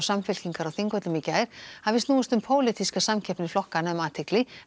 Samfylkingar á Þingvöllum í gær hafi snúist um pólitíska samkeppni flokkanna um athygli